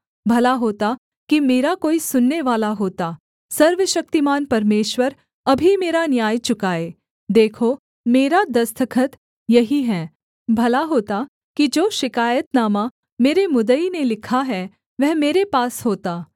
भला होता कि मेरा कोई सुननेवाला होता सर्वशक्तिमान परमेश्वर अभी मेरा न्याय चुकाए देखो मेरा दस्तखत यही है भला होता कि जो शिकायतनामा मेरे मुद्दई ने लिखा है वह मेरे पास होता